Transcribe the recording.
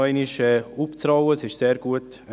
Er wurde gut dargestellt.